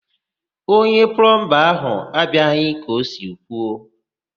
Onye plọmba ahụ abịaghị ka o si kwuo.